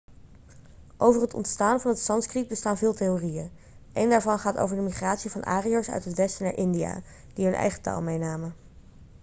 over het ontstaan van het sanskriet bestaan veel theorieën een daarvan gaat over de migratie van ariërs uit het westen naar india die hun eigen taal meenamen